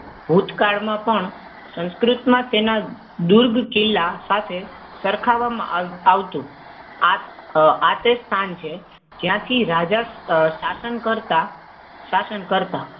ભૂતકાળમાં પણ સંસ્કૃતમાં તેના દુર્ગ કિલ્લા સાથે સરખાવવામાં આવતું. આ તે જ સ્થાન છે જ્યાં થી રાજા શાસન કરતા. શાસન કરતા.